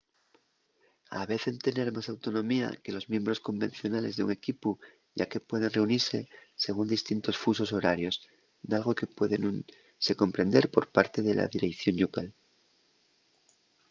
avecen tener más autonomía que los miembros convencionales d’un equipu yá que pueden reunise según distintos fusos horarios dalgo que puede nun se comprender por parte de la direición llocal